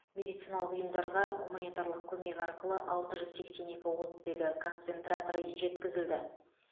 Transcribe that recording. медициналық ұйымдарға гуманитарлық көмек арқылы алты жүз сексен екі оттегі концентраторы жеткізілді